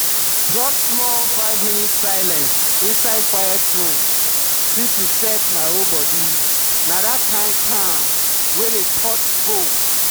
just small um five minute silence inside quiet room fit reset my whole body na that kind calm wey dey touch bone.